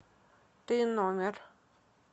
т номер